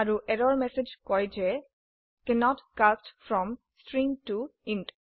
আৰু এৰৰ ম্যাসেজ কয় যে cannot cast from string to int